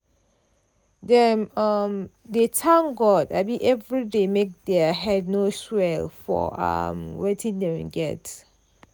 dem um dey thank god um everyday make dia head no swell for um wetin dem get.